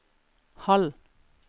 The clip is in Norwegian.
halv